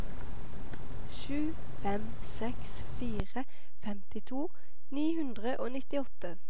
sju fem seks fire femtito ni hundre og nittiåtte